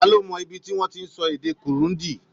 Ta ló mọ ibi tí wọ́n ti ń sọ èdè Kirundi?